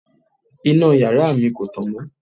Iná yàrá mi kò tàn mọ́.